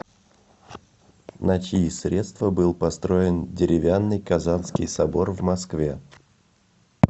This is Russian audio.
на чьи средства был построен деревянный казанский собор в москве